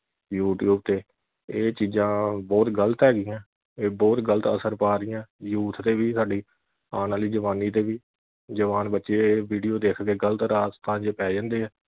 youtube ਤੇ ਇਹ ਚੀਜਾਂ ਬਹੁਤ ਗਲਤ ਹੈਗੀਆਂ ਇਹ ਬਹੁਤ ਗਲਤ ਆ ਦੀਆਂ news ਤੇ ਵੀ ਸਾਡੀ ਆਣ ਵਾਲੀ ਜਵਾਨੀ ਤੇ ਵੀ ਜਵਾਨ ਬੱਚੇ video ਦੇਖ ਕੇ ਗਲਤ ਰਾਸਤਾ ਵਿਚ ਪੈ ਜਾਂਦੇ